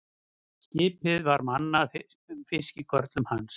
Skipið var mannað fiskikörlum hans.